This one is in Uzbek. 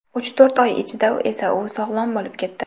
Uch-to‘rt oy ichida esa u sog‘lom bo‘lib ketdi.